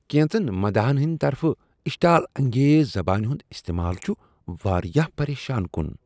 کینژن مداحن ہندِ طرفہٕ اشتعال انگیز زبانہ ہند استعمال چھ واریاہ پریشان کن۔